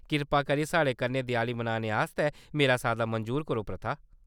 कृपा करियै साढ़े कन्नै देआली मनाने आस्तै मेरा साद्दा मंजूर करो, पृथा।